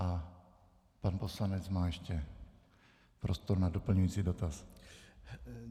A pan poslanec má ještě prostor na doplňující dotaz.